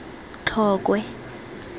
tlokwe